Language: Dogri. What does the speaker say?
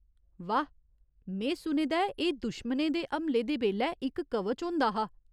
वाह। में सुने दा ऐ एह् दुश्मनें दे हमले दे बेल्लै इक कवच होंदा हा।